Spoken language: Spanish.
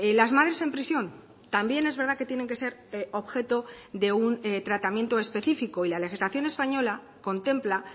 las madres en prisión también es verdad que tienen que ser objeto de un tratamiento específico y la legislación española contempla